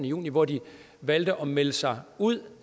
juni hvor de valgte at melde sig ud